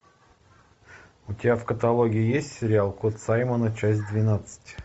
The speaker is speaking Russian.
у тебя в каталоге есть сериал кот саймона часть двенадцать